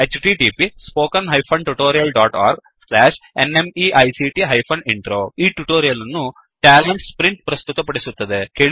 httpspoken tutorialorgNMEICT Intro ಈ tutorial ಅನ್ನು TalentSprintಪ್ರಸ್ತುತ ಪಡಿಸುತ್ತಿದೆ